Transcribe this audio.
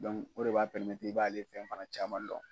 o de b'a i b'ale fɛn fana caman dɔn.